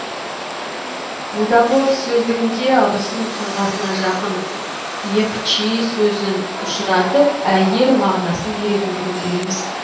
будагов сөздігінде абысын тұлғасына жақын епчи сөзін ұшыратып әйел мағынасын беретіндігін білеміз